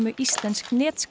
íslensks